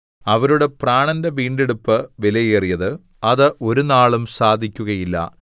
അവരുടെ പ്രാണന്റെ വീണ്ടെടുപ്പ് വിലയേറിയത് അത് ഒരുനാളും സാധിക്കുകയില്ല